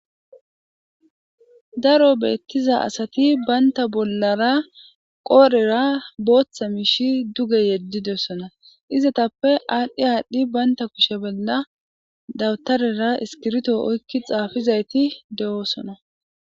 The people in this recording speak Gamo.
Daro betiza asati banta bolara qorera bota mishi duge yedidisona izetappe adhi adhi banta kushe bola dawtarera iskirito oykidi xafizayti de'osona.